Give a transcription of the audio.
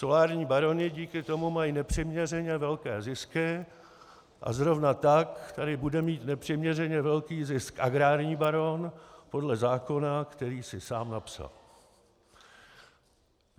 Solární baroni díky tomu mají nepřiměřeně velké zisky a zrovna tak tady bude mít nepřiměřeně velký zisk agrární baron podle zákona, který si sám napsal.